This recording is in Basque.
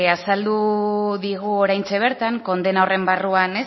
azaldu digu oraintxe bertan kondena horren barruan